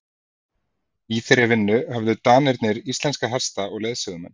Í þeirri vinnu höfðu Danirnir íslenska hesta og leiðsögumenn.